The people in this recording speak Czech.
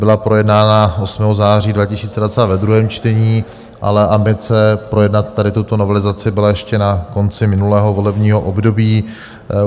Byla projednána 8. září 2022 ve druhém čtení, ale ambice projednat tady tuto novelizaci byla ještě na konci minulého volebního období.